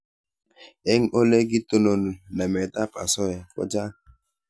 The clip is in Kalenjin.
Eng' ole kitononi namet ab asoya ko chang'